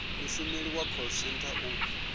mushumeli wa call centre u